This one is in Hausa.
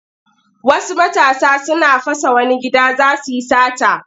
Wasu matasa suna fasa wani gida za su yi sata.